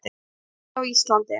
Jarðhiti á Íslandi